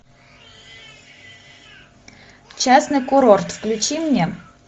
частный курорт включи мне